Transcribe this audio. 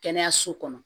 Kɛnɛyaso kɔnɔ